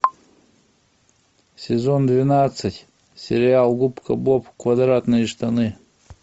сезон двенадцать сериал губка боб квадратные штаны